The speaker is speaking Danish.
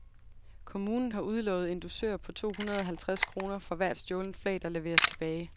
Kommunen har udlovet en dusør på to hundrede halvtreds kroner for hvert stjålent flag, der leveres tilbage.